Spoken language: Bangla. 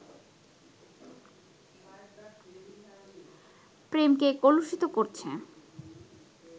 প্রেমকে কলুষিত করছে